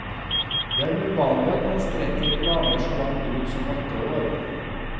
Det er uvanlig at man strekker planer så langt ut som åtte år.